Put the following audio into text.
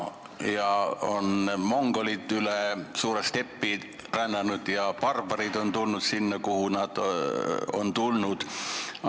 Mongolid on üle suure stepi rännanud ja barbarid tulnud sinna, kuhu nad on tulnud.